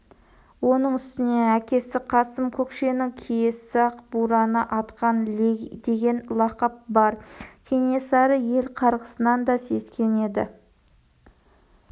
оның үстіне әкесі қасым көкшенің киесі ақ бураны атқан деген лақап бар кенесары ел қарғысынан да сескенеді